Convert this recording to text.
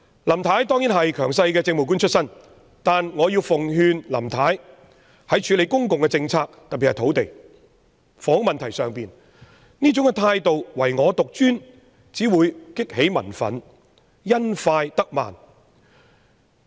林太當然是強勢的政務官出身，但我要奉勸林太，在處理公共政策特別是土地和房屋問題時，這種唯我獨尊的態度只會激起民憤，因快得慢。